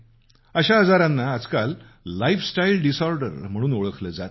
अशा आजारांना आजकाल लाईफस्टाईल डिसऑर्डर म्हणून ओळखलं जातं